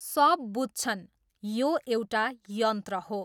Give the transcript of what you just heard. सब बुझ्छन्, यो एउटा यन्त्र हो।